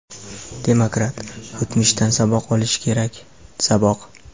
Demokrat, o‘tmishdan saboq olish kerak, saboq.